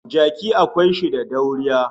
Jaki akwai shi da dauriya